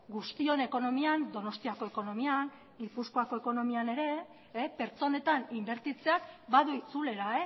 guztion ekonomian donostiako ekonomian gipuzkoako ekonomian ere pertsonetan inbertitzeak badu itzulera